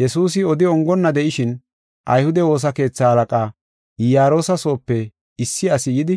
Yesuusi oda ongonna de7ishin, ayhude woosa keetha halaqaa, Iyaroosa soope issi asi yidi,